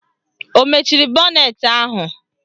Ọ mechiri bọnetị ahụ?